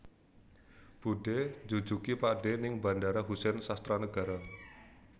Budhe njujugi pakdhe ning Bandara Husein Sastranegara